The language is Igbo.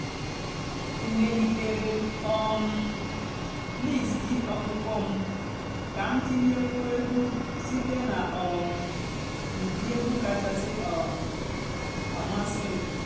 èmèlìtèré m um lístì ọ̀kpụ́kpọ́ m kà m tìnyékwúó ègwú sìté nà um ụ́dị́ ègwú kàchàsị́ um àmásị́ m.